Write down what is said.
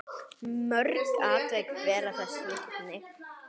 Mörg atvik bera þess vitni.